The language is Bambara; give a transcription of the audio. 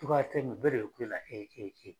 Cogoya tɛ ye nin bɛɛ de bɛ kulela heyi heyi